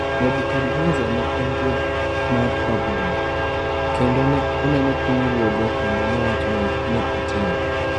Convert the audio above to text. "Nebukadnesar ne en ruoth mar Babilon, kendo ne oneno pinyruodhe kendo nowacho ni ""Ne atimo